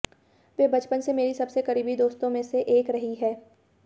वे बचपन से मेरी सबसे करीबी दोस्तों में से एक रही है